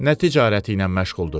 Nə ticarəti ilə məşğuldur?